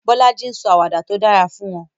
Bolaji ń sọ àwàdà tó dára fún wọn.